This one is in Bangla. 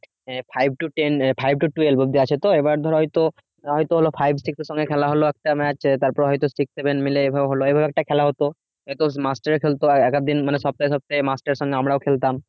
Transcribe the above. ah five to ten five to twelve অব্দি আছে তো এবার ধর হয়তো হয়তো ওরা five থেকে খেলা হল তারপর হয়তো six seven মিলে হলো এভাবে একটা খেলা হতো মাস্টারও খেলতো একেকদিন মানে সপ্তাহে সপ্তাহে মাস্টারের সঙ্গে আমরাও খেলতাম